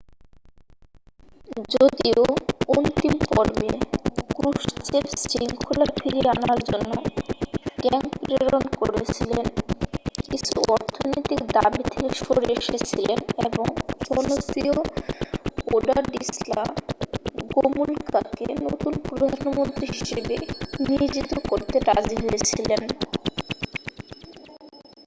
যদিও অন্তিম পর্বে ক্রুশ্চেভ শৃঙ্খলা ফিরিয়ে আনার জন্য ট্যাঙ্ক প্রেরণ করেছিলেন কিছু অর্থনৈতিক দাবী থেকে সরে এসেছিলেন এবং জনপ্রিয় ওলাডিস্লা গোমুলকাকে নতুন প্রধানমন্ত্রী হিসাবে নিয়োজিত করতে রাজি হয়েছিলেন